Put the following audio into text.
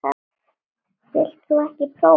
Vilt þú ekki prófa?